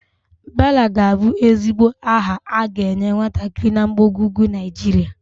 Bala ga-abụ ezigbo aha a ga-enye nwatakịrị na mgbago ugwu Naịjirịa.